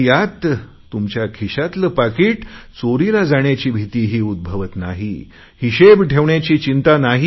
यात तुमच्या खिशातले पाकिट चोरीला जाण्याची भितीही उद्भवत नाही हिशेब ठेवण्याची चिंता ही नाही